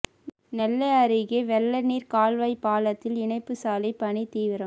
நெல்லை அருகே வெள்ளநீர் கால்வாய் பாலத்தில் இணைப்பு சாலை பணி தீவிரம்